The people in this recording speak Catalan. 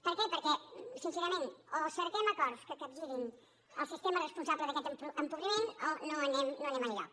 per què perquè sincerament o cerquem acords que capgirin el sistema responsable d’aquest empobriment o no anem enlloc